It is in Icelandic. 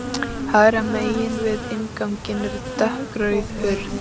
Hægra megin við innganginn er dökkrauð hurð.